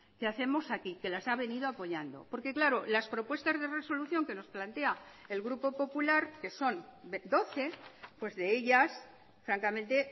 que hacemos aquí que las ha venido apoyando porque claro las propuestas de resolución que nos plantea el grupo popular que son doce pues de ellas francamente